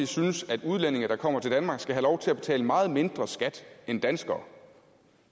synes at udlændinge der kommer til danmark skal have lov til at betale meget mindre skat end danskere